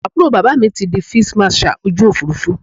Àbúrò bàbá mi ti di Fídíì Màṣaà ojú Òfurufú.